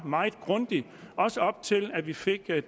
meget grundig også op til at vi fik